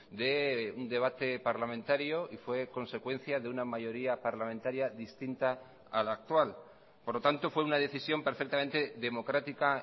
de un debate parlamentario y fue consecuencia de una mayoría parlamentaria distinta a la actual por lo tanto fue una decisión perfectamente democrática